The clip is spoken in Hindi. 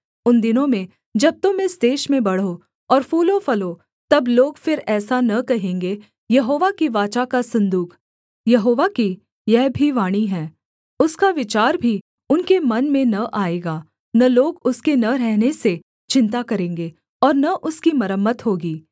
उन दिनों में जब तुम इस देश में बढ़ो और फूलोफलो तब लोग फिर ऐसा न कहेंगे यहोवा की वाचा का सन्दूक यहोवा की यह भी वाणी है उसका विचार भी उनके मन में न आएगा न लोग उसके न रहने से चिन्ता करेंगे और न उसकी मरम्मत होगी